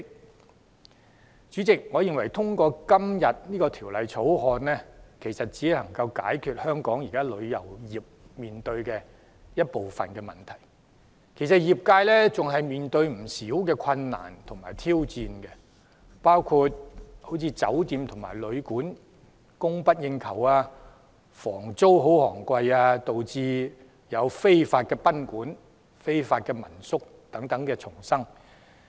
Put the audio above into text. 代理主席，我認為《條例草案》只能解決香港旅遊業現時面對的部分問題，業界仍然面對不少困難和挑戰，包括酒店及旅館供不應求、房租昂貴，導致非法賓館及民宿叢生。